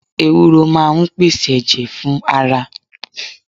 Ewúró máa ń pèsè ẹ̀jẹ̀ fún ara